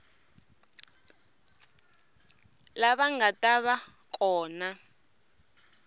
lava nga ta va kona